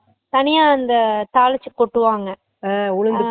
தனிய அந்த தாளிச்சு கொட்டுவாங்க அஹ்